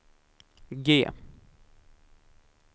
G